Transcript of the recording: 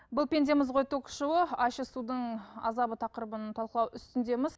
бұл пендеміз ғой ток шоуы ащы судың азабы тақырыбын талқылау үстіндеміз